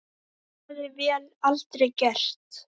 Það hefði vél aldrei gert.